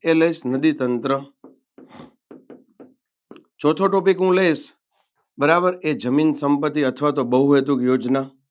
એ લઇશ નદીતંત્ ચોથો topic હું લઇશ બરાબર એ જમીન સંપતિ અથવા તો બહુહેતુ યોજના.